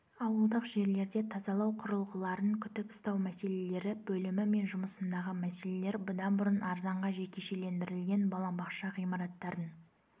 ауылдық жерлерде тазалау құрылғыларын күтіп-ұстау мәселелері бөлімі мен жұмысындағы мәселелер бұдан бұрын арзанға жекешелендірілген балабақша ғимараттарын